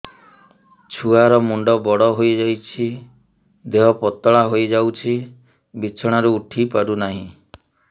ଛୁଆ ର ମୁଣ୍ଡ ବଡ ହୋଇଯାଉଛି ଦେହ ପତଳା ହୋଇଯାଉଛି ବିଛଣାରୁ ଉଠି ପାରୁନାହିଁ